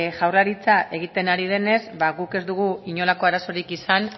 jaurlaritza egiten ari denez ba guk ez dugu inolako arazorik izan